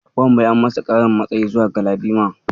Wanbai an masa ƙarin matsayi zuwa Galadima.